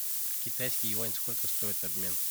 китайский юань сколько стоит обмен